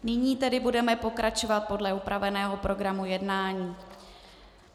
Nyní tedy budeme pokračovat podle upraveného programu jednání.